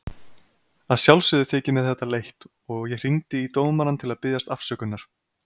Að sjálfsögðu þykir mér þetta leitt og ég hringdi í dómarann til að biðjast afsökunar.